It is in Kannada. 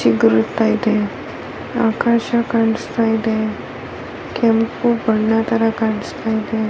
ಚಿಗುರು ಹುಟ್ಟ್ತೈತೆ ಆಕಾಶ ಕಾಣಿಸ್ತಾ ಇದೆ ಕೆಂಪು ಬಣ್ಣ ತರ ಕಾಣಿಸ್ತಾ ಇದೆ.